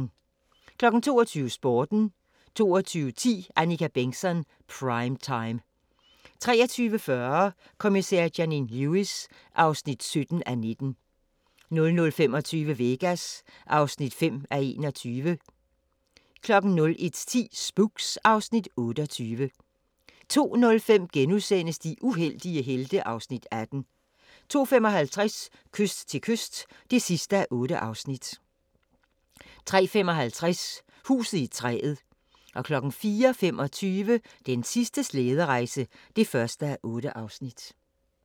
22:00: Sporten 22:10: Annika Bengtzon: Prime time 23:40: Kommissær Janine Lewis (17:19) 00:25: Vegas (5:21) 01:10: Spooks (Afs. 28) 02:05: De uheldige helte (Afs. 18)* 02:55: Kyst til kyst (8:8) 03:55: Huset i træet 04:25: Den sidste slæderejse (1:8)